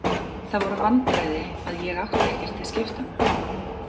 Það voru vandræði að ég átti ekkert til skiptanna.